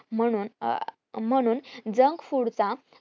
म्हणून अं म्हणून junk food चा